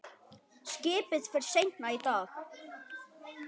Skipið fer seinna í dag.